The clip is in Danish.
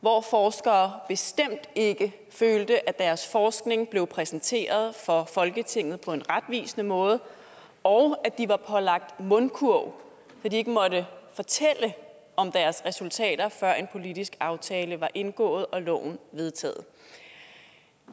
hvor forskere bestemt ikke følte at deres forskning blev præsenteret for folketinget på en retvisende måde og at de var pålagt mundkurv så de ikke måtte fortælle om deres resultater før en politisk aftale var indgået og loven vedtaget